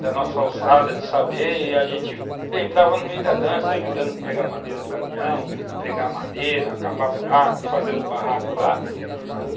da nossa alçada de saber, e a gente entrava no meio da dança, ajudando a pegar madeira do caminhão, pregar madeira, cavar buraco, fazer os barracos lá.